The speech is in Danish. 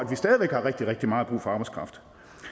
vi stadig væk har rigtig rigtig meget brug for arbejdskraft